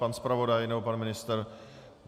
Pan zpravodaj nebo pan ministr?